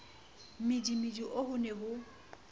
mmidimidi oo ho ne ho